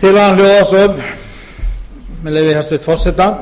tillagan hljóðar svo með leyfi hæstvirts forseta